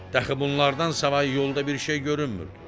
Dəxli bunlardan savayı yolda bir şey görünmürdü.